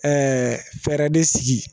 fɛɛrɛ de sigi